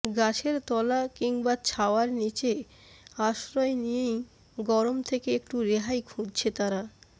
গাছের তলা কিংবা ছাওয়ার নীচে আশ্রয় নিয়েই গরম থেকে একটু রেহাই খুঁজছে তারা